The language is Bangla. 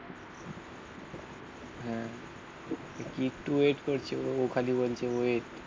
হ্যাঁ কি একটু ওয়েট করছে ও খালি বলছে ওয়েট.